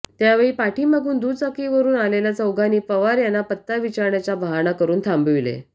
त्यावेळी पाठीमागून दुचाकीवरून आलेल्या चौघांनी पवार यांना पत्ता विचारण्याचा बहाणा करून थांबविले